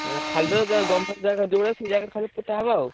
ଉଁ ଖାଲି ତ ଜ government ଜାଗା ଯୋଉଟା ସେଇ ଜାଗାରେ ଖାଲି ପୋତା ହବ ଆଉ।